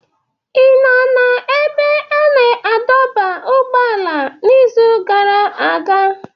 Ị nọ n'ebe a na-adọba ụgbọala n'izu gara aga?